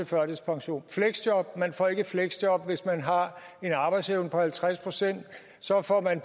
førtidspension fleksjob man får ikke et fleksjob hvis man har en arbejdsevne på halvtreds procent så får man af